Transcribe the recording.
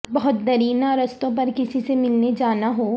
بہت دیرینہ رستوں پر کسی سے ملنے جانا ہو